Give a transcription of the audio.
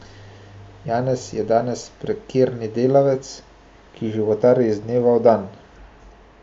Janez je danes prekerni delavec, ki životari iz dneva v dan.